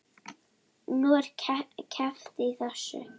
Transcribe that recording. Nú, er keppt í þessu?